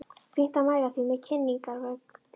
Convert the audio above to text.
Fínt að mæla með því í kynningarbækling.